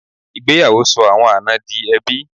Ìgbéyàwó sọ àwọn àna di ẹbí.